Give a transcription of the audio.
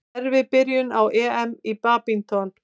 Erfið byrjun á EM í badminton